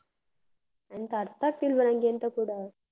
ಎಂತ ಅರ್ಥ ಆಗ್ತಿಲ್ವ ನಂಗೆ ಎಂತ ಕೂಡ.